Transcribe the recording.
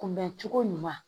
Kunbɛn cogo ɲuman